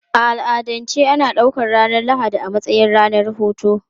A al'adance ana ɗaukar ranar Lahadi a matsayin ranar hutu.